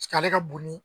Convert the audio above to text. Sigi ale ka bonni